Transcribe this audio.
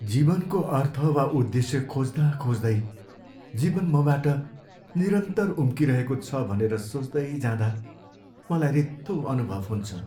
जीवनको अर्थ वा उद्देश्य खोज्दा खोज्दै जीवन मबाट निरन्तर उम्किरहेको छ भनेर सोच्दैँजाँदा मलाई रित्तो अनुभव हुन्छ।